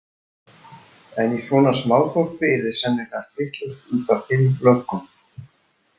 En í svona smáþorpi yrði sennilega allt vitlaust út af fimm löggum.